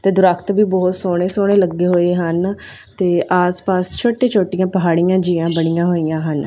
ਤੇ ਦਰਖਤ ਵੀ ਬਹੁਤ ਸੋਹਣੇ ਸੋਹਣੇ ਲੱਗੇ ਹੋਏ ਹਨ ਤੇ ਆਸ ਪਾਸ ਛੋਟੀ ਛੋਟੀਆਂ ਪਹਾੜੀਆਂ ਜਿਹੀਆਂ ਬਣੀਆਂ ਹੋਈਆਂ ਹਨ।